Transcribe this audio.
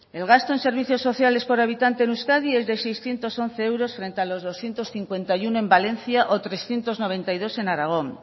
el gasto en servicios sociales por habitante en euskadi es de seiscientos once euros frente a los doscientos cincuenta y uno en valencia o trescientos noventa y dos en aragón